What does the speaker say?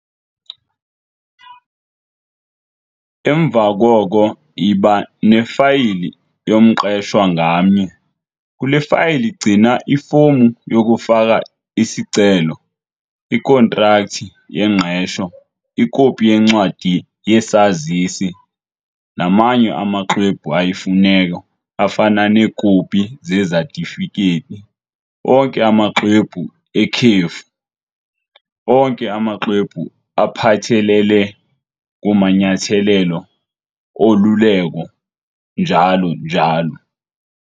Emva koko yiba nefayili yomqeshwa ngamnye. Kule fayili gcina ifomu yokufaka isicelo, ikhontrakthi yengqesho, ikopi yencwadi yesazisi, namanye amaxwebhu ayimfuneko afana neekopi zezatifikethi, onke amaxwebhu ekhefu, onke amaxwebhu aphathelele kumanyathelelo oluleko, njalo njalo.